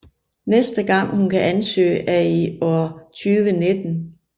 Næste gang hun kan ansøge er i år 2019